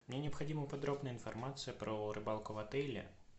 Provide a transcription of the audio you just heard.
мне необходима подробная информация про рыбалку в отеле